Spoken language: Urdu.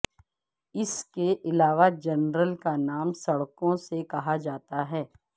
اس کے علاوہ جنرل کا نام سڑکوں سے کہا جاتا ہے